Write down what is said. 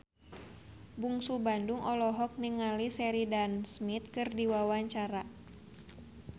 Bungsu Bandung olohok ningali Sheridan Smith keur diwawancara